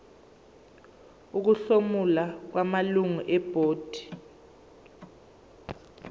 ukuhlomula kwamalungu ebhodi